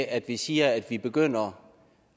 at vi siger at vi begynder